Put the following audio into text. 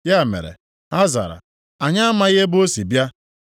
Ya mere, ha zara, “Anyị amaghị ebe o si bịa.”